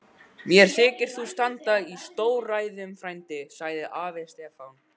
Mér þykir þú standa í stórræðum frændi, sagði afi Stefán.